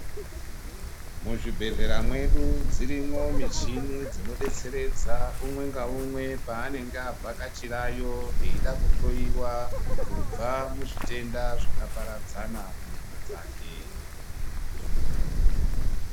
Muzvibhedhlera mwedu dzirimwo michini dzinodetseredza umwe ngaumwe paanenge avhakachirayo eida kuhloyiwa kubva muzvitenda zvakaparadzana munyama dzake.